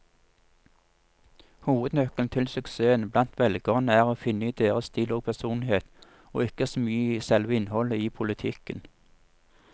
Hovednøkkelen til suksessen blant velgerne er å finne i deres stil og personlighet, og ikke så mye i selve innholdet i politikken.